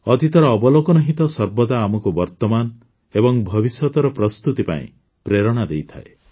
ଅତୀତର ଅବଲୋକନ ହିଁ ତ ସର୍ବଦା ଆମକୁ ବର୍ତ୍ତମାନ ଏବଂ ଭବିଷ୍ୟତର ପ୍ରସ୍ତୁତି ପାଇଁ ପ୍ରେରଣା ଦେଇଥାଏ